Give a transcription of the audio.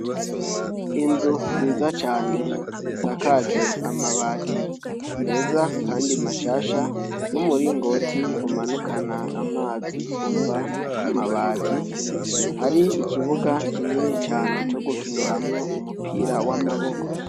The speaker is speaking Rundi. Inzu nziza cane isakajwe amabati meza Kandi mashasha n'umurongoti umanukana amazi uva ku mabati ,hari ikibuga kinini cane co gukiniramwo umupira w'amaboko.